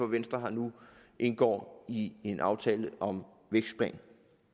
venstre nu indgår i en aftale om vækstplan